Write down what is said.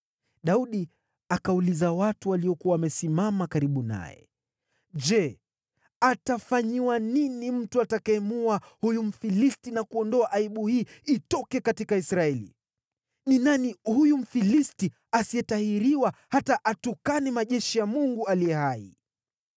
Daudi akauliza watu waliokuwa wamesimama karibu naye, “Je, atafanyiwa nini mtu atakayemuua huyu Mfilisti na kuondoa aibu hii katika Israeli? Ni nani huyu Mfilisti asiyetahiriwa hata atukane majeshi ya Mungu aliye hai?”